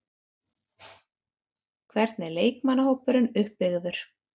Hvernig er leikmannahópurinn uppbyggður?